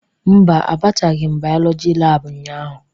Mba, abataghị m bayolọjị laabụ ụnyaahụ.